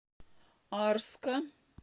арска